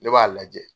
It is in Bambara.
Ne b'a lajɛ